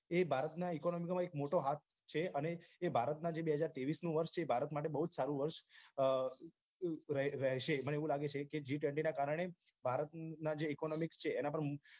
એ ભારતમાં economy નો એક મોટો હાથ છે અને જે ભારતમાં બે હજાર તેવીસનું વર્ષ છે જે ભારત માટે બહુજ સારું વર્ષ રહેશે મને એવું લાગે છે કે g twenty ના કારણે ભારતના economics છે એના પર